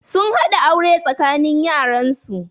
Sun haɗa aure tsakanin yaran su